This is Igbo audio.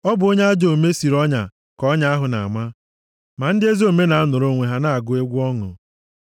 Ọ bụ onye ajọ omume siri ọnya ka ọnya ahụ na-ama. Ma ndị ezi omume na-anọrọ onwe ha na-agụ egwu ọṅụ.